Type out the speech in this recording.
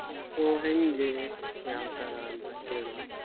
So ಹೆಂಗೆ ಯಾವ್ ತರ ಅಂತ ಕೇಳುವಂತ.